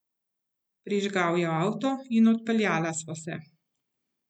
Prižgal je avto in odpeljala sva se.